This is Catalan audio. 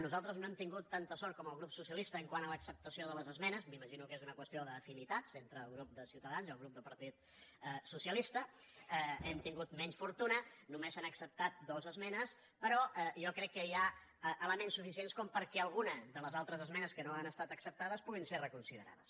nosaltres no hem tingut tanta sort com el grup socialista quant a l’acceptació de les esmenes m’imagino que és una qüestió d’afinitats entre el grup de ciutadans i el grup del partit socialista hem tingut menys fortuna només han acceptat dues esmenes però jo crec que hi ha elements suficients perquè alguna de les altres esmenes que no han estat acceptades puguin ser reconsiderades